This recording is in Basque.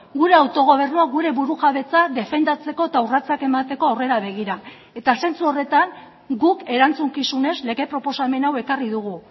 gure autogobernua gure burujabetza defendatzeko eta urratsak emateko aurrera begira eta zentzu horretan guk erantzukizunez lege proposamen hau ekarri dugu